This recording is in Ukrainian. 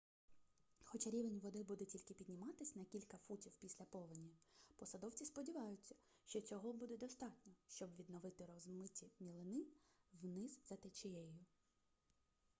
хоча рівень води буде тільки підніматись на кілька футів після повені посадовці сподіваються що цього буде достатньо щоб відновити розмиті мілини вниз за течією